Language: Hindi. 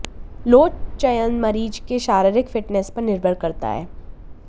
लोड चयन मरीज के शारीरिक फिटनेस पर निर्भर करता है